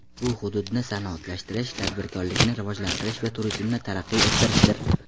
Bu hududni sanoatlashtirish, tadbirkorlikni rivojlantirish va turizmni taraqqiy ettirishdir.